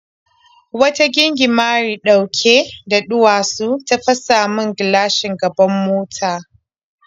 Wata gingimari ɗauke da duwatsu ta fas min gilashin gaban mota.